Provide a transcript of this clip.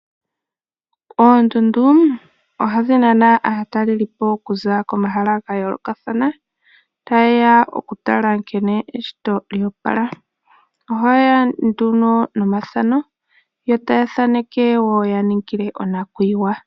Oondundu ohadhi nana aatalelipo okuza komahala ga yoolokathana ta ye ya okutala nkene eshito lya opala. Oha yeya nomathano ya thaaneke opo ya ningile onakuyiwa.